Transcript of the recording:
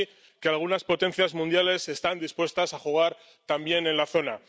que algunas potencias mundiales están dispuestas a jugar también en la zona.